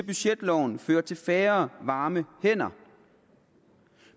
budgetloven fører til færre varme hænder